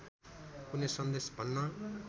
कुनै सन्देश भन्न